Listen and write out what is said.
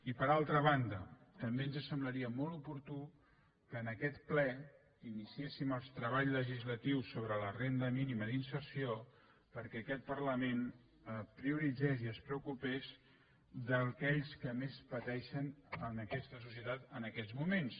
i per altra banda també ens semblaria molt oportú que en aquest ple iniciéssim els treballs legislatius sobre la renda mínima d’inserció perquè aquest parlament prioritzés i es preocupés d’aquells que més pateixen en aquesta societat en aquests moments